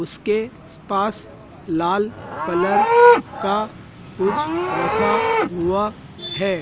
उसके पास लाल कलर का कुछ रखा हुआ है।